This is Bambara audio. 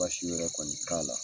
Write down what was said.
Baasi wɛrɛ kɔni t'a la.